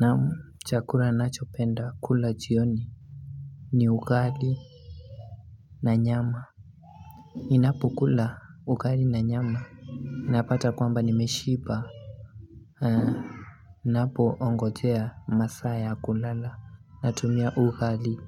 Naam Chakura nachopenda kula jioni ni ugali na nyama ninapokula ugali na nyama napata kwamba nimeshiba Haa napoongojea masaa ya kulala Natumia ugali